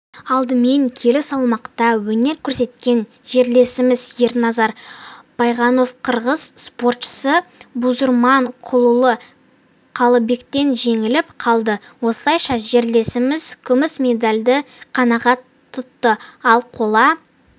алдымен келі салмақта өнер көрсеткен жерлесіміз ерназар байғоновқырғыз спортшысы бузурманкулұлы қалыбектен жеңіліп қалды осылайша жерлесіміз күміс медальды қанағат тұтты ал қола